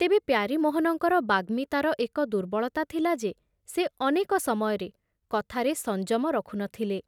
ତେବେ ପ୍ୟାରୀମୋହନଙ୍କର ବାଗ୍ମିତାର ଏକ ଦୁର୍ବଳତା ଥିଲା ଯେ ସେ ଅନେକ ସମୟରେ କଥାରେ ସଂଯମ ରଖୁ ନଥିଲେ ।